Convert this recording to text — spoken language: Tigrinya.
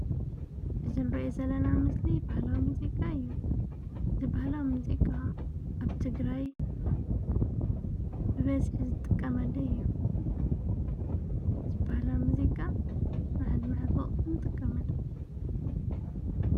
እጀንርየ ዘለና ምስሊ በህላ ሙዚቃ እዩ ዝበህላ ምዚቃ ኣብ ትግራይ ብበዝሕ ዝጥቀመለ እዩ ዝበህላ ሙዚቃ መዓዝ መዓዝ ወቕቲ ንጥቀመሉ?